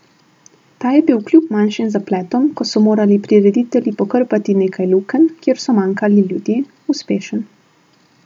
Ta je bil kljub manjšim zapletom, ko so morali prireditelji pokrpati nekaj lukenj, kjer so manjkali ljudje, uspešen.